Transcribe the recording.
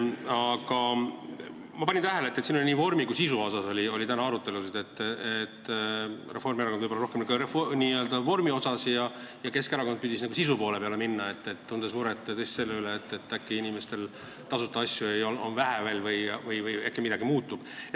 Aga ma panin tähele, et siin käis täna arutelu nii vormi kui ka sisu üle – Reformierakond arutles võib-olla vormi üle ja Keskerakond püüdis sisu poole peale minna, tundes muret ilmselt selle üle, et äkki on inimestel veel vähe tasuta asju või äkki midagi muutub.